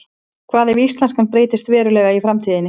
Hvað ef íslenskan breytist verulega í framtíðinni?